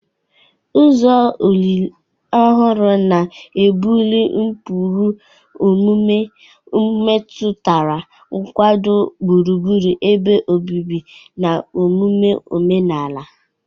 Ụzọ olili ọhụrụ na-ebuli ụkpụrụ omume metụtara nkwado gburugburu ebe obibi na omume omenala.